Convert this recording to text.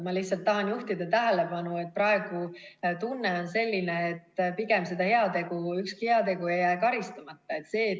Ma lihtsalt tahan juhtida tähelepanu, et praegu on tunne selline, et pigem ükski heategu ei jää karistamata.